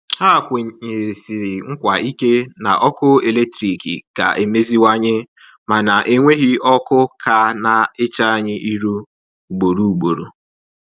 Ha kwenyesiri nkwa ike na ọkụ eletrik ga-emeziwanye, mana enweghi ọkụ ka na-eche anyị irụ ugboro ugboro.